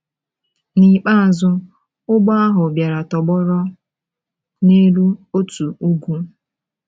N’ikpeazụ, ụgbọ ahụ bịara tọgbọrọ n’elu otu ugwu.